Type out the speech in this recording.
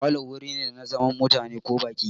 Falo wuri ne na zaman mutane ko baƙi.